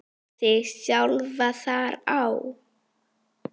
og þig sjálfan þar á.